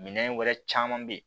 Minɛn wɛrɛ caman be ye